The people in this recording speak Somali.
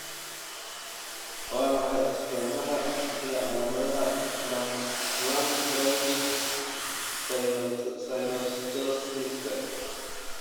Waa maxay astamaha iyo calaamadaha Lambdoid synnostosiska?